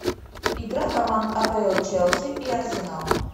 игра команд апл челси и арсенал